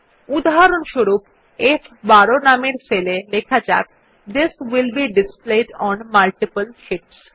উদাহরণস্বরূপ ফ12 নামের সেলে লেখা যাক this will be displayed on multiple Sheets